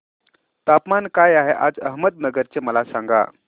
तापमान काय आहे आज अहमदनगर चे मला सांगा